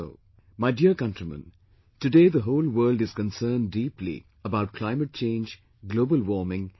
My dear countrymen, today, the whole world is concerned deeply about climate change, global warming and the environment